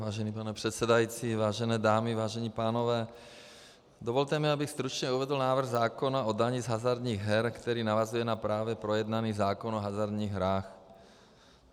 Vážený pane předsedající, vážené dámy, vážení pánové, dovolte mi, abych stručně uvedl návrh zákona o dani z hazardních her, který navazuje na právě projednaný zákon o hazardních hrách.